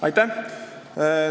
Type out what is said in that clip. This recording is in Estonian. Aitäh!